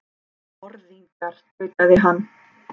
Morðingjar, tautaði hann.